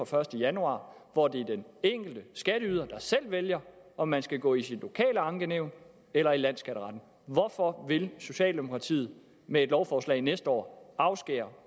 første januar hvor det er den enkelte skatteyder der selv vælger om man skal gå til sit lokale ankenævn eller i landsskatteretten hvorfor vil socialdemokratiet med et lovforslag næste år afskære